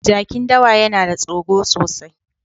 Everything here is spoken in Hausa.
Jakin dawa yana da tsoro sosai.